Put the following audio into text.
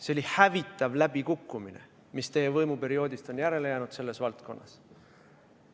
See oli hävitav läbikukkumine, mis teie võimuperioodist on järele jäänud selles valdkonnas.